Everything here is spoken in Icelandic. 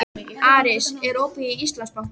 Aris, er opið í Íslandsbanka?